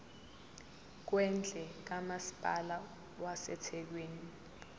kwendle kamasipala wasethekwini